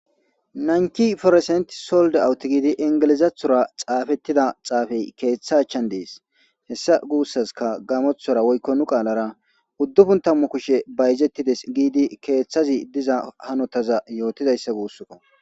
nanki foresent solde awuti giidi ingelizathora xaafettida xaafey keeththa achan dees hessa guussaska gamothora woykko nu qaalara uddufun tammu kushe bayzettides giidi keeththazi diza hanotaza yootidayssa guusskko